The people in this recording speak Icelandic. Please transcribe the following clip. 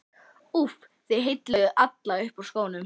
úff, þið heilluðuð alla upp úr skónum.